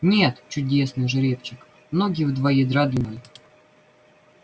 нет чудесный жеребчик ноги в два ярда длиной